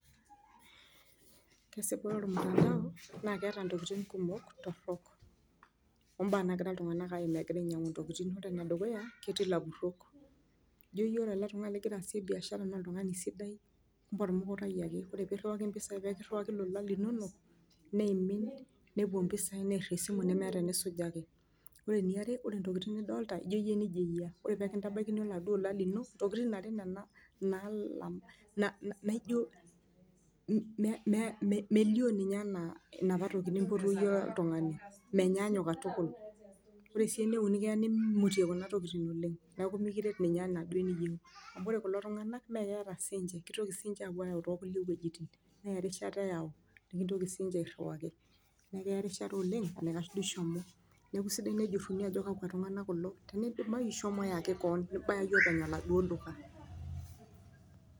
Kesipa ire ormutandao naa keeta ntokitin kumok torok obaa naagira iltung'ana aimaa egiraa Ore ene dukuya naa jio yie ore oltung'ani ligira asie biashara naa oltungani sidai, kumbe ormukukai ake ore pee iriwaki pisai pee kiyaki lolan linono neimin nepuo pisai near esimu neneeta enisujaki. Ore eniare ore tokitin nidolita nijio kenejia eyia, ore pee kitabaikini naduo olola lino tokitin ake nena naalamai na nana najio mmmelio ninye anaa napa tokitin nipotuo yie oltung'ani menyaanyuk katukul. Ore si eneuni keya nmutie kuna tokitin ooleng neaku mikiret ninye anaa enaduo niyieu. Ore kulo tung'ana naa meata sininche kitoki apuo ayau te kulie wuejitin, neya erishata eyau, nikitoki si niche airiwaki neaku keya eriashata ooleng ,neaku esidai tenejuruni ajo kakua tungana kulo teneidimayu shomo yaki kewan nibaya oopeny oladuo duka.